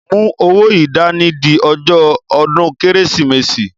Mú owó yìí dání di ọjọ́ ọdún Kérésìmesì!